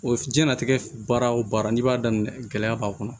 O jɛnatigɛ baara wo baara n'i b'a daminɛ gɛlɛya b'a kɔnɔ